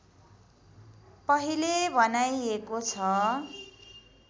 पहिले भनाइएको छ